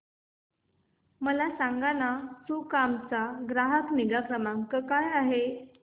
मला सांगाना सुकाम चा ग्राहक निगा क्रमांक काय आहे